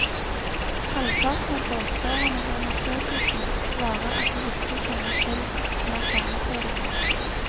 Halvparten av båtførerne i undersøkelsen svarer at de ikke kjenner til lanterneføringen.